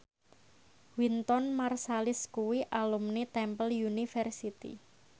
Wynton Marsalis kuwi alumni Temple University